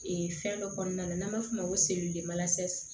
fɛn dɔ kɔnɔna n'an b'a f'o ma ko